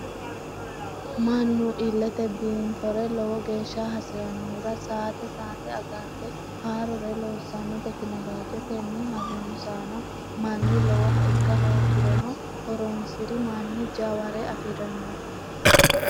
Mannu ilete biinfore lowo geeshsha hasiranohura saate saate agarte haarore loosanno tekinoloje tene harunsano manni lowoha ikka hoogirono horonsiri manni jaware afirano.